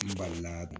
N balila